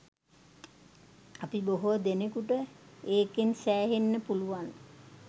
අපි බොහෝ දෙනෙකුට ඒකෙන් සෑහෙන්න පුළුවන්